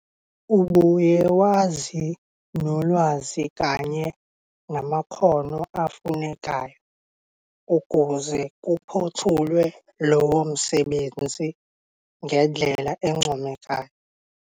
Ubuye wazi nolwazi kanye namakhono afunekayo ukuze kuphothulwe lowo msebenzi ngendlela encomekayo.